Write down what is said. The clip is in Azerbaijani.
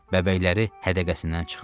Bəbəkləri hədəqəsindən çıxdı.